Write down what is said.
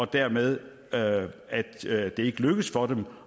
dermed ikke lykkes for dem